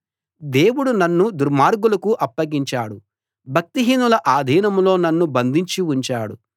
దేవుడు నన్ను దుర్మార్గులకు అప్పగించాడు భక్తిహీనుల ఆధీనంలో నన్ను బంధించి ఉంచాడు